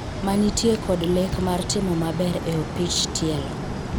ma nitie kod lek mar timo maber e opich tielo